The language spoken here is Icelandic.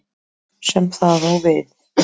sem það á við.